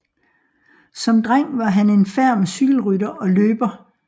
Som dreng var han en ferm cykelrytter og løber